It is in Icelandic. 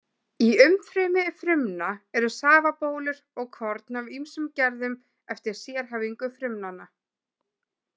Í umfrymi frumna eru safabólur og korn af ýmsum gerðum eftir sérhæfingu frumnanna.